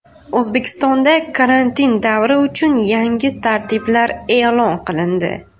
O‘zbekistonda karantin davri uchun yangi tartiblar e’lon qilindi.